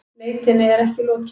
Leitinni er ekki lokið